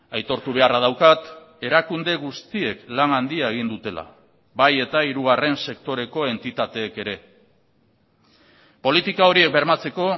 aitortu beharra daukat erakunde guztiek lan handia egin dutela bai eta hirugarren sektoreko entitateek ere politika horiek bermatzeko